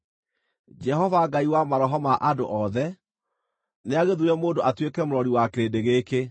“Jehova-Ngai wa maroho ma andũ othe, nĩagĩthuure mũndũ atuĩke mũrori wa kĩrĩndĩ gĩkĩ,